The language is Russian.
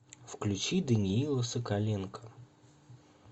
включи даниила соколенко